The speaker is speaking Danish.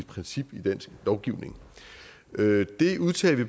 princip i dansk lovgivning det udtalte